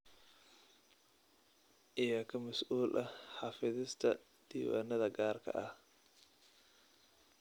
Yaa ka mas'uul ah xafidista diiwaannada gaarka ah?